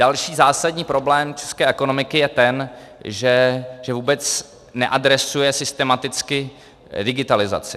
Další zásadní problém české ekonomiky je ten, že vůbec neadresuje systematicky digitalizaci.